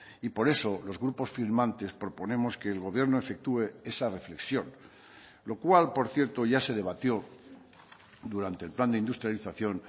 y por eso los grupos firmantes proponemos que el gobierno efectúe esa reflexión lo cual por cierto ya se debatió durante el plan de industrialización